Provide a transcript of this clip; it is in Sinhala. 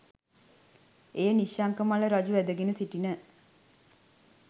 එය නිශ්ශංක මල්ල රජු වැදගෙන සිටින